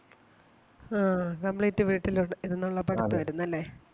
ആ complete വീട്ടിൽ ഇരു~ഇരുന്നൊള്ള പഠിപ്പ് ആരുന്നല്ലേ?